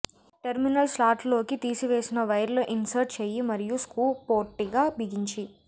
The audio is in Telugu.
టెర్మినల్ స్లాట్లలోకి తీసివేసిన వైర్లు ఇన్సర్ట్ చెయ్యి మరియు స్క్రూ పొట్టిగా బిగించి